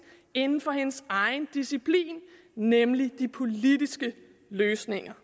inden for hendes egen disciplin nemlig de politiske løsninger